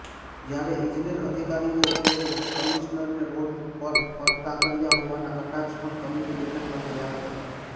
જયારે ઈજનેર અધિકારીઓએ કમીશ્નરને રોડ પર ફરતાં કર્યા હોવાના કટાક્ષ પણ કમીટી બેઠકમાં થયા હતા